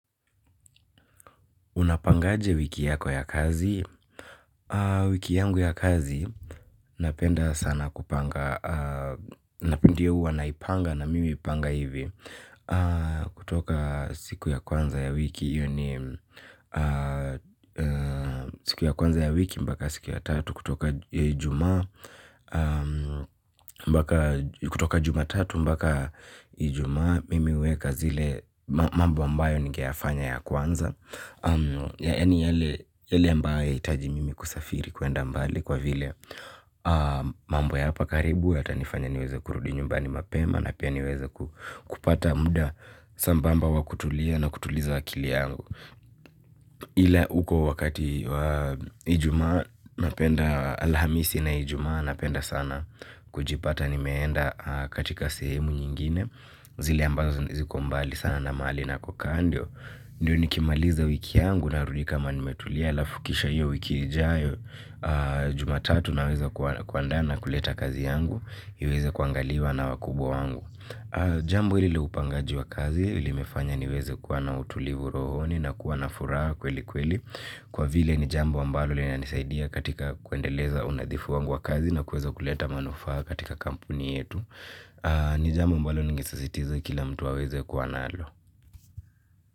Unapangaje wiki yako ya kazi? Wiki yangu ya kazi. Napenda sana kupanga. Napindia uwa naipanga na mimi uipanga hivi. Kutoka siku ya kwanza ya wiki siku ya kwanza ya wiki mbaka siku ya tatu. Kutoka jumatatu mbaka ijuma. Mimi weka zile mambu ambayo ninge yafanya ya kwanza ya ni yale ambaye haitaji mimi kusafiri kuenda mbali kwa vile mambo ya hapa karibu yatanifanya niweze kurudi nyumbani mapema na pia niweze kupata muda sambamba wakutulia na kutuliza akili yangu ile uko wakati ijumaa napenda alhamisi na ijumaa napenda sana kujipata nimeenda katika sehemu nyingine zile ambazo ziko mbali sana na mahali na kukaa ndio. Ndiyo nikimaliza wiki yangu narudi kama nimetulia alafu kisha hiyo wiki ijayo. Jumatatu naweza kuandaa na kuleta kazi yangu. Iweze kuangaliwa na wakubwa wangu. Jambo hili leupangaji wa kazi hili mefanya niweze kuwa na utulivu rohoni na kuwa na furaha kweli kweli. Kwa vile ni jambo ambalo lina nisaidia katika kuendeleza unadhifu wangu wa kazi na kuweza kuleta manufaa katika kampuni yetu. Ni jambo ambalo ningisasitiza kila mtu aweze kuwa nalo.